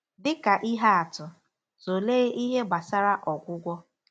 Dị ka ihe atụ, tụlee ihe gbasara ọgwụgwọ.